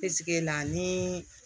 Peseke la ni